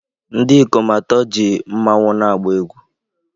Ndị ikom atọ ji mmanwu na-agba egwú